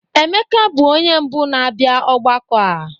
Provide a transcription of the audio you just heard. Emeka bụ onye mbụ na-abịa ọgbakọ a.